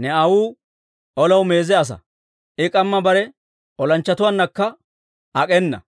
Ne aawuu olaw meeze asaa; I k'amma bare olanchchatuwaannakka ak'enna.